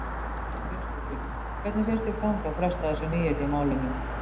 Birta Björnsdóttir: Hvernig finnst þér ganga að festa þessi nýyrði í málinu?